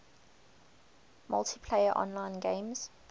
multiplayer online games